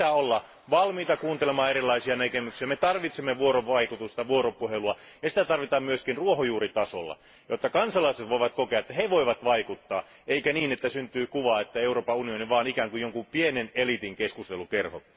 Meidän pitää olla valmiita kuuntelemaan erilaisia näkemyksiä, me tarvitsemme vuorovaikutusta, vuoropuhelua, ja sitä tarvitaan myös ruohonjuuritasolla, jotta kansalaiset voivat kokea, että he voivat vaikuttaa asioihin, eikä niin, että syntyy sellainen kuva, että Euroopan unioni on vain pienen eliitin keskustelukerho.